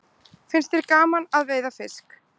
Finnst þér gaman að veiða fisk?